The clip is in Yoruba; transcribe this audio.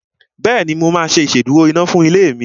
Bẹ́ẹ̀ni, mo máa ṣe ìsedúró iná fún ilé mi